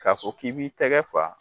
K'a fɔ k'i b'i tɛgɛ fa